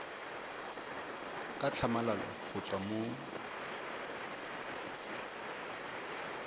ka tlhamalalo go tswa mo